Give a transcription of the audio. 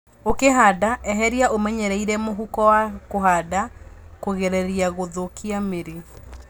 Ũkĩhanda, eheria ũmenyereire mũhũko wa kũhanda kũgirereria gũthũkia mĩri.